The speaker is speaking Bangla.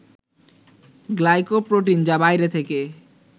গ্লাইকোপ্রোটিন যা বাইরে থেকে